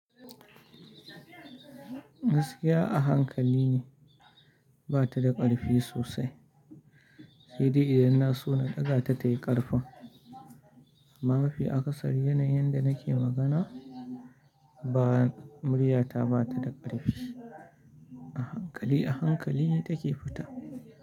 Gaskiya a hankali ne ba ta da ƙarfi sosai. Sai dai idan na so na ɗaga ta tayi ƙarfin. Amma mafi akasari yanayin da nake magana ba murya ta ba ta da ƙarfi. A hankali, a hankali take fita.